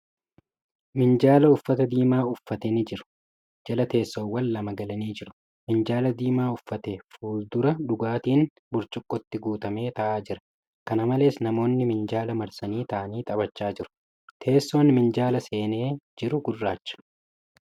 Minjaala uffata diimaa uffatee ni jiru, jala teessoowwan lama galanii jiru. Minjaala diimaa uffate fuuldura dhugaatiin burcuqqootti guutamee taa'aa jira. Kana malees, namoonni minjaala marsanii taa'anii taphachaa jiru. Teessoon minjaala seenee jiru gurraacha.